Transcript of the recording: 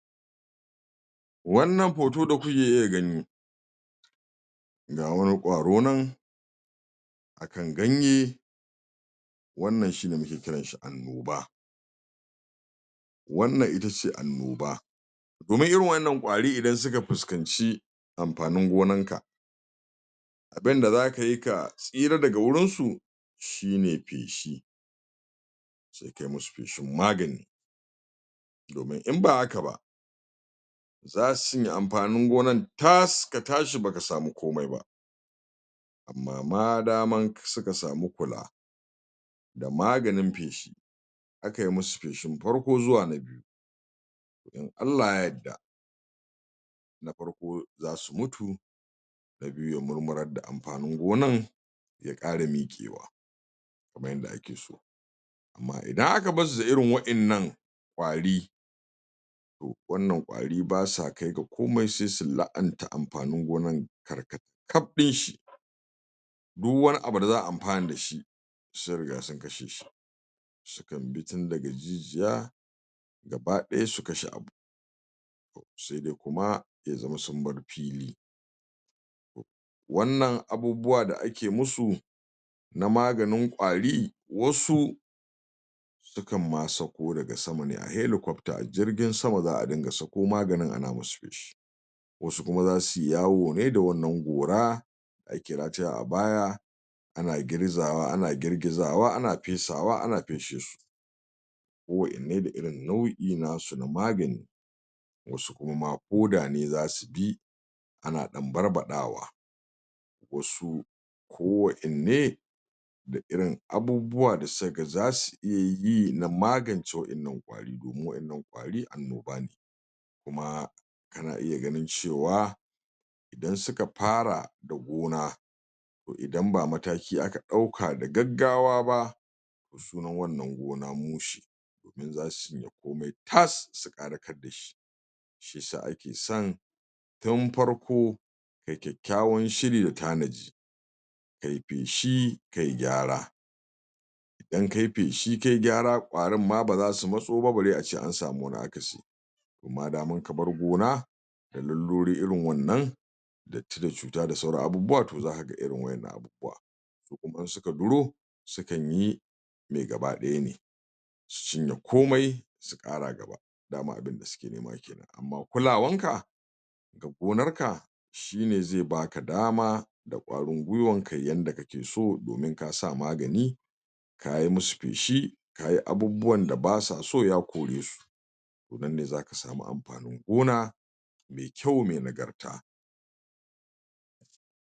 wannan poto da kuke iya gani ga wani ƙwaro nan akan ganye wannan shine muke kiranshi annoba wannan itace annoba domin irin wayyian ƙwari idan suka fuskanci amfanin gonan ka abunda zakayi ka tsira daga gurin su shine feshi sai kayi musu feshin magani domin in bahaka ba zasu cinye amfanin gonan tas ka tashi baka sami komai ba amma madaman suka sami kula da maganin feshi aka yi musu feshin farko zuwa na biyu in allah ya yadda na farko zasu mutu na biyu ya murmurar da amfanin gona ya kara miƙewa kaman yanda ake so amma idan aka barsu da irin wayyan ƙwari wannan ƙwari ba sa kai da komai sai su la'anta amfanin gonanan kaf dinshi duk wani abu da za'a amfana dashi sun riga sun kasheshi sukan bi tun daga jijiya gabaya su kashe abu sai dai kuma ya zamana sun bar fili wannan abubuwa da ake musu na maganin ƙwari wasu sauko daga sama ne heliƙwabta a jirgin sama za'a dinga sako maganin ana musu feshi wasu kuma zasuyi yawo ne da wannan gora da ake rataye a baya ana girgizawa ana girgizawa ana fesawa ana fesheshi ko wa innan da irin nau'in nasu na magani wasu kuma ma hoda ne zasu bi ana dan barba dawa wasu ko wa inne da irin abubuwa da suka ga zasu iya yi na magance wa innan ƙwari don annoba ne kuma ana iya ganin cewa idan suka fara da gona to idan ba mataki aka dauka da gaggawa ba sunan wannan gona mushe domin zasuyi cinye komai tas su karakar da shi shiya sa ake son tun farko da kyakyawan shiri da tanadi kayi feshi kayi gyara idan kayi feshi kayi gyara ƙwarin ma bazasu matsoba bare ace an sami wani akasi amma idan ka bar gona da laluri irin wannan datti da cuta da sauran abubuwa to za kaga irin wannan abubuwa to kuma in suka duro sukan yi mi gabadaya ne su cinye komai su kara gaba dama abunda suke nema kenan amma kulawanka gonarka shine zai bata dama da ƙwarin gwuiwa ka yanda kake so domin kasa maganin kayi musu feshi kayi abubwan da ba sa so ya kore su to nan ne zaka samu amfanin gona mai kyau mai nagarta